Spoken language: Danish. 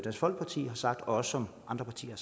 folkeparti har sagt og som andre partier